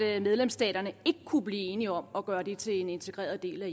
at medlemsstaterne ikke kunne blive enige om at gøre det til en integreret del af